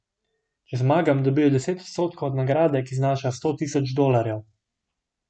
Če zmagam, dobijo deset odstotkov od nagrade, ki znaša sto tisoč dolarjev.